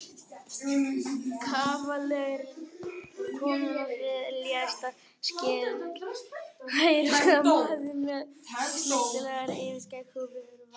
Kavalerinn var kominn af léttasta skeiði, hæruskotinn maður með snyrtilegt yfirskegg og virðulegt fas.